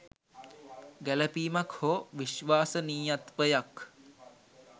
ගැලපීමක් හෝ විශ්වාසනීයත්වයක්